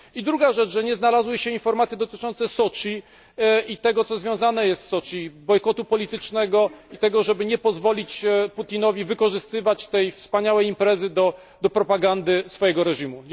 Druga rzecz że nie znalazły się informacje dotyczące Soczi i tego, co związane jest z Soczi, czyli bojkotu politycznego, tego, żeby nie pozwolić Putinowi wykorzystywać tej wspaniałej imprezy do propagandy swojego reżimu.